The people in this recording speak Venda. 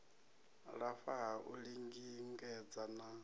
lafha ha u lingedza na